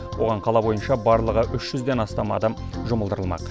оған қала бойынша барлығы үш жүзден астам адам жұмылдырылмақ